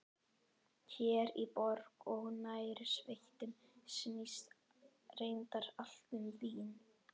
Hér í borg og nærsveitum snýst reyndar allt um vín.